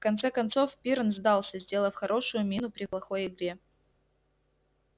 в конце концов пиренн сдался сделав хорошую мину при плохой игре